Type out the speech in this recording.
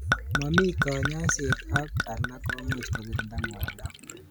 Momi kanyoiset ak ko alak komuch kokirinda ngwanindo.